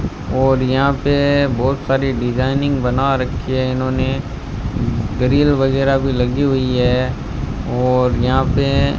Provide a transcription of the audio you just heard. और यहां पे बहोत सारी डिजाइनिंग बना रखी है इन्होंने दरी वगैरा भी लगी हुई है और यहां पे --